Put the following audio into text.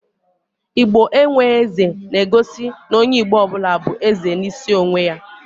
"Igbo enwe eze" na egosi n'onye Igbo ọbụla bụ eze n'isi onwe ya